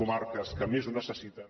comarques que més ho necessiten